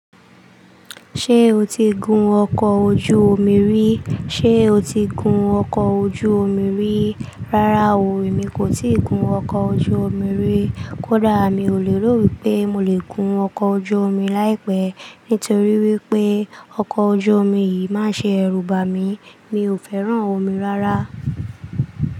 Ṣé o ti gun ọkọ̀ ojú omi rí? Ṣé o ti gun ọkọ̀ ojú omi rí? Rárá o, èmi kò ti gun ọkọ̀ ojú omi rí. Kódà mi ò lè rò wípé mo lè gun ọkọ̀ ojú omi láìpẹ́. Nítorí wípé ọkọ̀ ojú omi yìí máa ń ṣe ẹrú bà mí. Mi ò fẹ́ràn omi rárá.